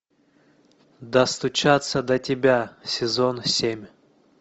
достучаться до тебя сезон семь